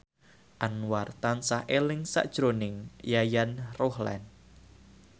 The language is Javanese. Anwar tansah eling sakjroning Yayan Ruhlan